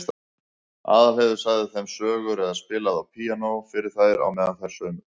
Aðalheiður sagði þeim sögur eða spilaði á píanó fyrir þær á meðan þær saumuðu.